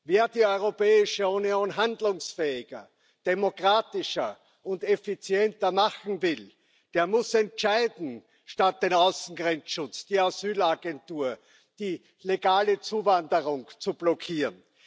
Wer die Europäische Union handlungsfähiger, demokratischer und effizienter machen will, der muss entscheiden, statt den Außengrenzschutz, die Asylagentur, die legale Zuwanderung zu blockieren.